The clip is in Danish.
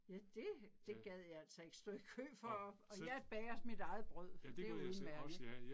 Ja det det gad jeg altså ikke stå i kø for og og jeg bager mit eget brød det er udemærket